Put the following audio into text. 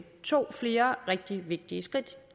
tog flere rigtig vigtige skridt